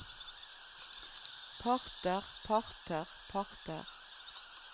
parter parter parter